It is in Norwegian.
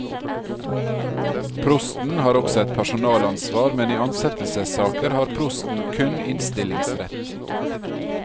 Prosten har også et personalansvar, men i ansettelsessaker har prosten kun innstillingsrett.